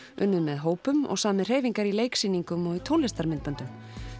unnið með hópum og samið hreyfingar í leiksýningum og tónlistarmyndböndum